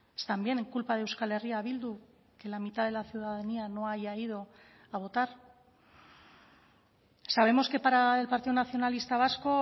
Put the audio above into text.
es también culpa de euskal herria bildu que la mitad de la ciudadanía no haya ido a votar sabemos que para el partido nacionalista vasco